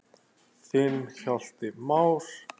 Þinn Hjalti Már.